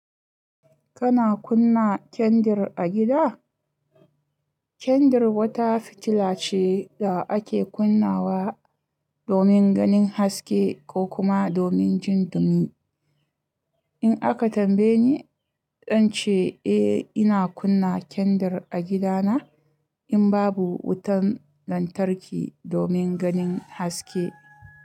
Kana kunna kendir a gida? Kendir wata fitila ce da ake kunnawa domin ganin haske ko kuma domin jin dumi. In aka tambaye ni, zan ce eh ina kunna kendir a gidana in babu wutan lantarki domin ganin haske.